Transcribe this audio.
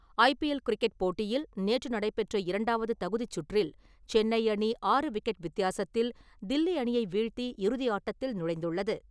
IPL cricket போட்டியில் நேற்று நடைபெற்ற இரண்டாவது தகுதிச் சுற்றில் சென்னை அணி விக்கெட் வித்தியாசத்தில் தில்லி அணியை வீழ்த்தி இறுதியாட்டத்தில் நுழைந்துள்ளது.